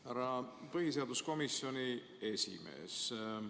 Härra põhiseaduskomisjoni esimees!